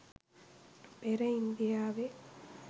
පෙර ඉන්දියාවේ